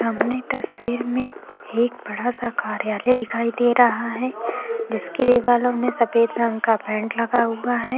सामने तस्वीर में एक बडा सा कार्यालय दिखाई दे रहा है जिसके दीवालो मे सफ़ेद रंग का पेंट लगा हुवा है।